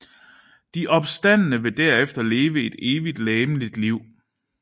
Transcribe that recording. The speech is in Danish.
De opstandne vil derefter leve et evigt legemligt liv